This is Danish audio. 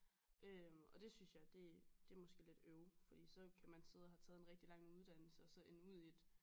Øh og det synes jeg det det måske lidt øv fordi så kan man sidde og have taget en rigtig lang uddannelse og så ende ud i et